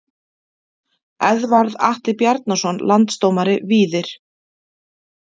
Eðvarð Atli Bjarnason Landsdómari Víðir